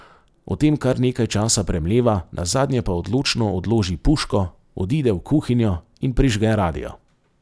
O tem kar nekaj časa premleva, nazadnje pa odločno odloži puško, odide v kuhinjo in prižge radio.